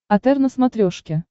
отр на смотрешке